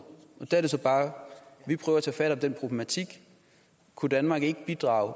der er det så bare at vi prøver at tage fat om den problematik kunne danmark ikke bidrage